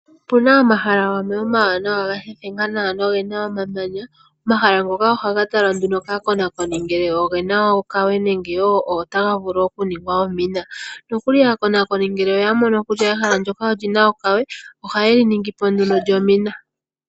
Opuna omahala gamwe omawanawa ga thethenga nawa nogena omamanya. Omahala ngoka ohaga talwa nduno kaakonakoni ngele ogena okawe nenge wo otaga vulu okuningwa omina. Nokuli aakonakoni nhele oya mono kutya ehala ndyoka olina okawe oha yeli ningipo lyomina.